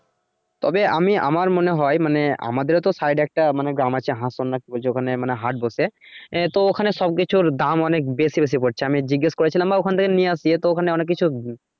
তবে আমি আমার মনে হয় মানে আমাদেরও সাইড একটা মানে গ্রাম আছে হাসন না কি বলছে ওখানে হাট বসে। আহ তো ওখানে সবকিছুর দাম অনেক বেশি বেশি পরছে আমি জিজ্ঞেস করেছিলাম বা ওখান থেকে নিয়ে আসিই তো ওখানে অনেক কিছু।